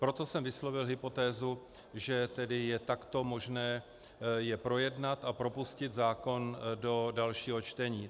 Proto jsem vyslovil hypotézu, že tedy je takto možné je projednat a propustit zákon do dalšího čtení.